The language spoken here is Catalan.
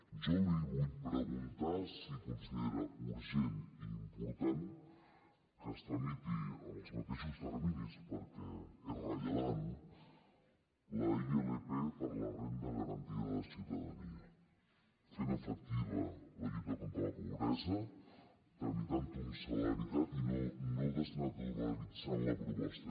jo li vull preguntar si considera urgent i important que es tramiti amb els mateixos terminis perquè és rellevant la ilp per la renda garantida de ciutadania fent efectiva la lluita contra la pobresa tramitant ho amb celeritat i no desnaturalitzant la proposta